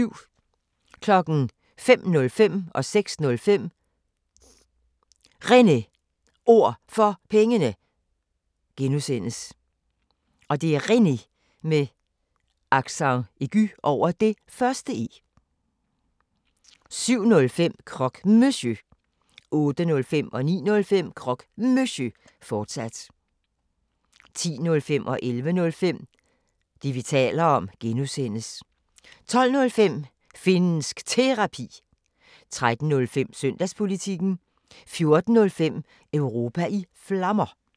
05:05: Réne Ord For Pengene (G) 06:05: Réne Ord For Pengene (G) 07:05: Croque Monsieur 08:05: Croque Monsieur, fortsat 09:05: Croque Monsieur, fortsat 10:05: Det, vi taler om (G) 11:05: Det, vi taler om (G) 12:05: Finnsk Terapi 13:05: Søndagspolitikken 14:05: Europa i Flammer